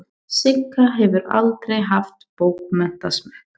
Sigga hefur aldrei haft bókmenntasmekk.